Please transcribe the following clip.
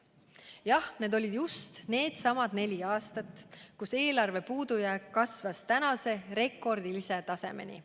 Jah, need olid just needsamad neli aastat, kus eelarve puudujääk kasvas tänase rekordilise tasemeni.